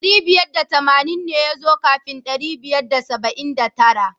Dari biyar da tamanin ne ya zo kafin ɗari biyar da saba'in da tara.